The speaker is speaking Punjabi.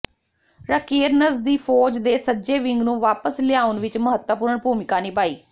ਰਾਕੇਰਨਜ਼ ਦੀ ਫੌਜ ਦੇ ਸੱਜੇ ਵਿੰਗ ਨੂੰ ਵਾਪਸ ਲਿਆਉਣ ਵਿੱਚ ਮਹੱਤਵਪੂਰਨ ਭੂਮਿਕਾ ਨਿਭਾਈ